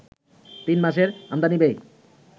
তিন মাসের আমদানি ব্যয়